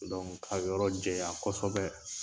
ka yɔrɔ jɛya kɔsɔbɛ.